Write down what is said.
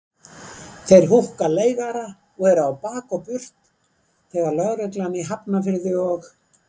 Þeir húkka leigara og eru á bak og burt þegar lögreglan í Hafnarfirði og